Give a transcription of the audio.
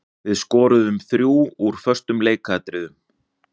Við skoruðum þrjú úr föstum leikatriðum.